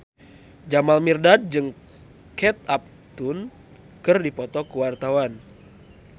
Jamal Mirdad jeung Kate Upton keur dipoto ku wartawan